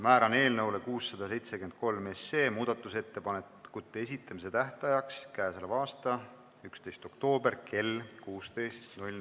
Määran eelnõu 673 muudatusettepanekute esitamise tähtajaks k.a 11. oktoobri kell 16.